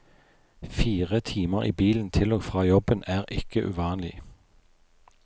Fire timer i bilen til og fra jobben er ikke uvanlig.